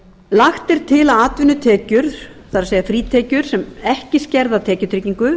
er til að atvinnutekjur það er frítekjur sem ekki skerða tekjutryggingu